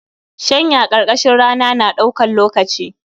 Shanya karkashin rana na da ɗaukar lokaci